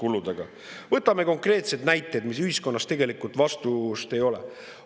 Võtame konkreetsed näited, kus ühiskonnas tegelikult vastuseid ei ole.